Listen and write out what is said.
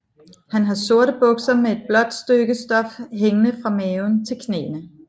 Han har sorte bukser med et blåt stykke stof hængende fra maven til knæene